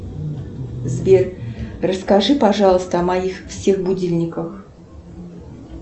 сбер расскажи пожалуйста о моих всех будильниках